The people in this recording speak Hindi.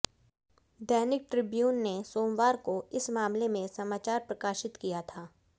दैनिक ट्रिब्यून ने सोमवार को इस मामले में समाचार प्रकाशित किया था